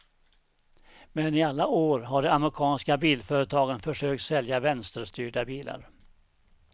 Men i alla år har de amerikanska bilföretagen försökt sälja vänsterstyrda bilar.